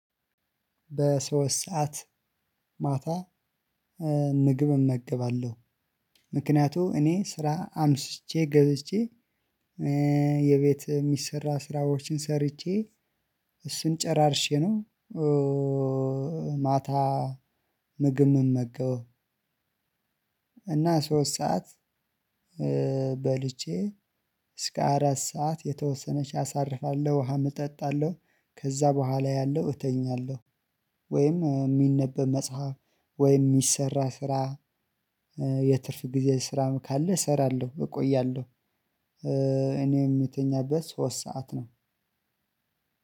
በሶስት ሰዓት ማታ ምግብ እመገባለሁ ምክንያቱ እኔ ስራ አምሽቼ ገብቼ የቤት የሚሰራ ስራዎችን ሰርቼ እሱን ጨራርሼ ነው ማታ ምግብ የምመገበው። እና ሶስት ሰዓት በልቼ እስከ አራት ሰዓት የተወሰነች አሳርፋለሁ። ውሃ እጠጣለሁ ከዛ በኋላ ያለው እተኛለሁ። ወይም የሚነበብ መጽሐፍ ወይም የሚሰራ ስራ። የትርፍ ጊዜ ስራም ካለ እሰራለሁ እቆያለሁ። እኔ የምተኛው በሶስት ሰዓት ነው።